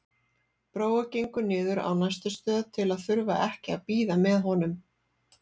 Brói gengur niður á næstu stöð til að þurfa ekki að bíða með honum.